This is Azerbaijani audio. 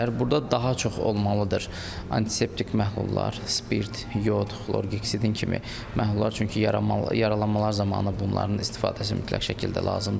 Burda daha çox olmalıdır antiseptik məhlullar, spirt, yod, xlorhekidin kimi məhlullar, çünki yaralanmalar zamanı bunların istifadəsi mütləq şəkildə lazımdır.